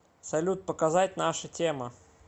салют показать наша тема